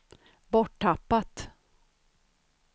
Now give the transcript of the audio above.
borttappat